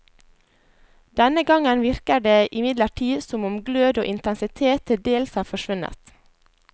Denne gangen virker det imidlertid som om glød og intensitet til dels har forsvunnet.